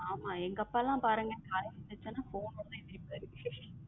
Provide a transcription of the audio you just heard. ஆமா எங்க அப்பளம் பாருங்க யாராவது phone வந்த என்திருபரு